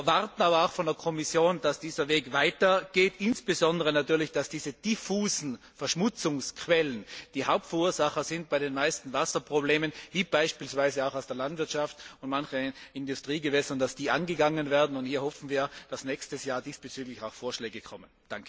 Wir erwarten aber auch von der Kommission, dass dieser Weg weitergeht, insbesondere natürlich, dass diese diffusen Verschmutzungsquellen, die Hauptverursacher bei den meisten Wasserproblemen sind, wie beispielsweise auch aus der Landwirtschaft und manchen Industriegewässern, angegangen werden. Hier hoffen wir, dass nächstes Jahr diesbezüglich auch Vorschläge kommen.